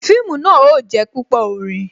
Fíìmù náà ó jé púpò orin